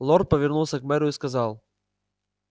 лорд повернулся к мэру и сказал